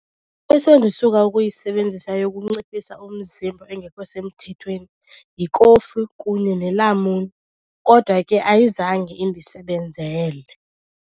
Esendisuka ukuyisebenzisa yokunciphisa umzimba engekho semthethweni yikofu kunye nelamuni kodwa ke ayizange indisebenzele.